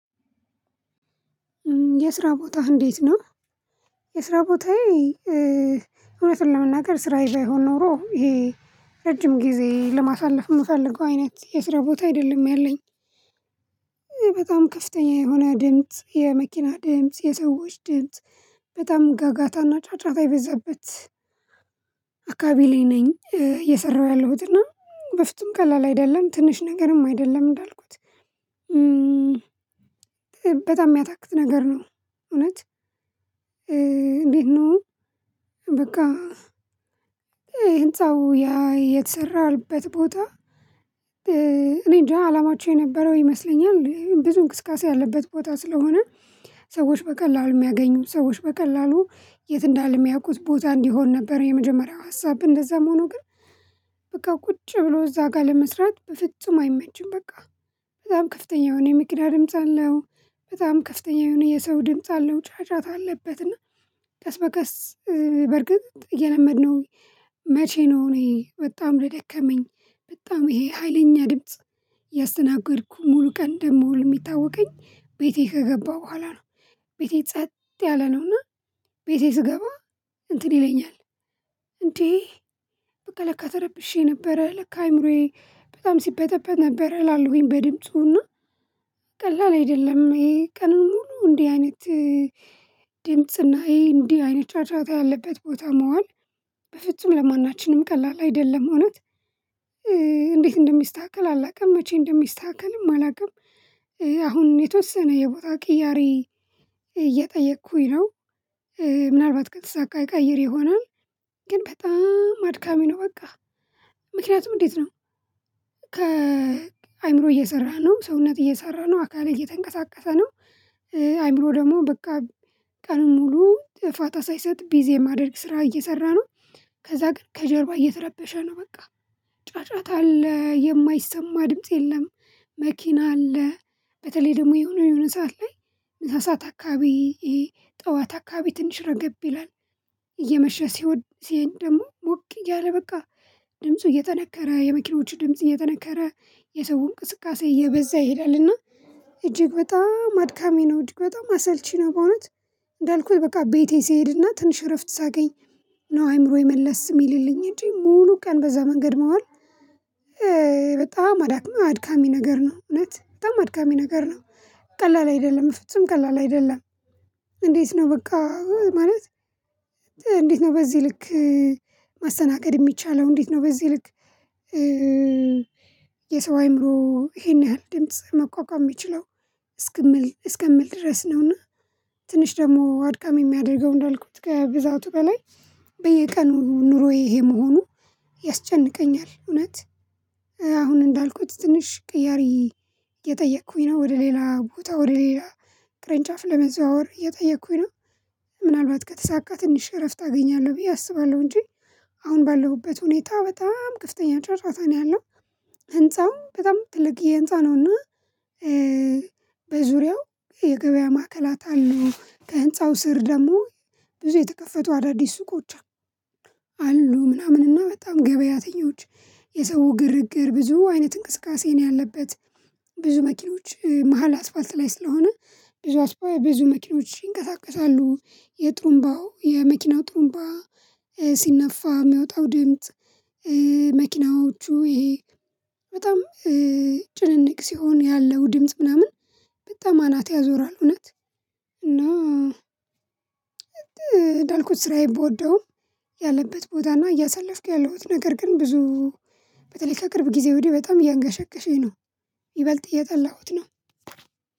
የስራ ቦታህ እንዴት ነው? የስራ ቦታዬ እውነቱን ለመናገር ስራዬ ባይሆን ኖሮ ይሄ ረጅም ጊዜ ለማሳለፍ የምፈልገው አይነት የስራ ቦታ አይደለም ያለኝ። በጣም ከፍተኛ የሆነ ድምጽ የመኪና ድምጽ የሰዎች ድምጽ በጣም ጋጋታና ጫጫታ የበዛበት። አካባቢ ላይ ነኝ እየሰራሁ ያለሁት እና በፍጹም ቀላል አይደለም ትንሽ ነገርም አይደለም እንዳልኩት። በጣም የሚያታክት ነገር ነው። እውነት እንዴት ነው? በቃ ህንፃው ያ የተሰራልበት ቦታ። እኔ እንጃ አላማቸው የነበረው ይመስለኛል ብዙ እንቅስቃሴ ያለበት ቦታ ስለሆነ። ሰዎች በቀላሉ የሚያገኙት ሰዎች በቀላሉ የት እንዳለ የሚያውቁት ቦታ እንዲሆን ነበር የመጀመሪያው ሀሳብ እንደዛም ሆኖ ግን። በቃ ቁጭ ብሎ እዛ ጋር ለመስራት በፍጹም አይመችም። በቃ በጣም ከፍተኛ የሆነ የመኪና ድምጽ አለው በጣም ከፍተኛ የሆነ የሰው ድምጽ አለው ጫጫታ አለበት እና። ቀስ በቀስ በርግጥ እየለመድነው። መቼ ነው እኔ በጣም የደከመኝ በጣም ይሄ ሀይለኛ ድምጽ። እያስተናገድኩ ሙሉ ቀን እንደምውል ሚታወቀኝ ቤቴ ከገባሁ በኋላ ነው። ቤቴ ጸጥ ያለ ነውና። ቤቴ ስገባ እንትን ይለኛል። እንዴ? በቃ ለካ ተረብሼ ነበረ ለካ አይምሮዬ በጣም ሲበጠበጥ ነበር እላለሁኝ በድምጹና። ቀላል አይደለም ይሄ ቀን ሙሉ እንዲህ አይነት ድምጽና ይሄ እንዲህ አይነት ጫጫታ ያለበት ቦታ መዋል በፍጹም ለማናችንም ቀላል አይደለም። እውነት እንዴት እንደሚስተካከል አላውቅም መቼ እንደሚስተካከልም አላውቅም። አሁን የተወሰነ የቦታ ቅያሬ እየጠየቅኩኝ ነው። ምናልባት ከተሳካ እቀይር ይሆናል። ግን በጣም አድካሚ ነው በቃ። ምክንያቱም እንዴት ነው? ከአእምሮ እየሰራህ ነው ሰውነትህ እየሰራህ ነው አካልህ እየተንቀሳቀሰ ነው። አይምሮ ደግሞ በቃ ቀን ሙሉ ፋታ ሳይሰጥ ቢዚ የሚያደርግ ስራ እየሰራ ነው። ከዛ ግን ከጀርባ እየተረበሸ ነው በቃ። ጫጫታ አለ የማይሰማ ድምጽ የለም። መኪና አለ። በተለይ ደግሞ የሆነ የሆነ ሰዓት ላይ ምሳ ሰዓት አካባቢ ይሄ ጠዋት አካባቢ ትንሽ ረገብ ይላል። እየመሸ ሲወድ ሲሄድ ደግሞ ሞቅ እያለ በቃ ድምፁ እየጠነከረ የመኪናዎቹ ድምጽ እየጠነከረ የሰው እንቅስቃሴ እየበዛ ይሄዳልና። እጅግ በጣም አድካሚ ነው እጅግ በጣም አሰልቺ ነው በእውነት። እንዳልኩት በቃ ቤቴ ስሄድና ትንሽ እረፍት ሳገኝ ነው አይምሮዬ መለስ የሚልልኝ እንጂ ሙሉ ቀን በዛ መንገድ መዋል። በጣም አድካሚ ነገር ነው እውነት በጣም አድካሚ ነገር ነው ቀላል አይደለም በፍጹም ቀላል አይደለም። እንዴት ነው? በቃ ማለት እንዴት ነው በዚህ ልክ። ማስተናገድ የሚቻለው እንዴት ነው በዚህ ልክ? የሰው አእምሮ ይሄን ያህል ድምጽ መቋቋም የሚችለው እስከምል እስከምል ድረስ ነውና። ትንሽ ደግሞ አድካሚ የሚያደርገው እንዳልኩት ከብዛቱ በላይ በየቀኑ ኑሮዬ ይሄ መሆኑ ያስጨንቀኛል እውነት። አሁን እንዳልኩት ትንሽ ቅያሪ እየጠየኩኝ ነው ወደ ሌላ ቦታ ወደ ሌላ ቅርንጫፍ ለመዘዋወር እየጠየኩኝ ነው። ምናልባት ከተሳካ ትንሽ እረፍት አገኛለሁ ብዬ አስባለሁ እንጂ። አሁን ባለሁበት ሁኔታ በጣም ከፍተኛ ጫጫታ ነው ያለው። ህንፃውም በጣም ትልቅዬ ህንፃ ነው እና። በዙሪያው የገበያ ማዕከላት አሉ ከህንፃው ስር ደግሞ ብዙ የተከፈቱ አዳዲስ ሱቆች። አሉ ምናምን እና በጣም ገበያተኞች የሰው ግርግር ብዙ አይነት እንቅስቃሴ ነው ያለበት። ብዙ መኪኖች መሃል አስፋልት ላይ ስለሆነ። ብዙ ብዙ መኪኖች ይንቀሳቀሳሉ የጥሩምባው የመኪናው ጥሩንባ ሲነፋ የሚወጣው ድምጽ። መኪናዎቹ ይሄ በጣም ጭንንቅ ሲሆን ያለው ድምጽ ምናምን በጣም አናት ያዞራል እውነት። እና እንዳልኩት ስራዬን ብወደውም ያለበት ቦታና እያሳለፍኩ ያለሁት ነገር ግን ብዙ በተለይ ከቅርብ ጊዜ ወዲህ በጣም እያንገሸገሸኝ ነው። ይበልጥ እየጣለሁት ነው።